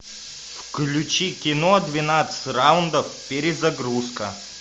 включи кино двенадцать раундов перезагрузка